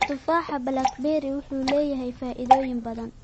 Tufaaxa blackberry wuxuu leeyahay faa'iidooyin badan.